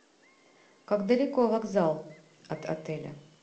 как далеко вокзал от отеля